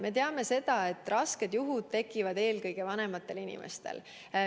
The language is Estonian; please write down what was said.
Me teame seda, et rasked juhud tekivad eelkõige vanematel inimestel.